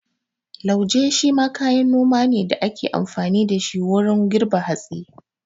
Lauje shi ma kayan noma ne da ake amfani da shi wurin girbe hatsi.